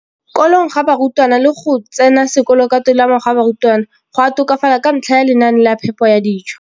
Kolong ga barutwana le go tsena sekolo ka tolamo ga barutwana go a tokafala ka ntlha ya lenaane la phepo ya dijo.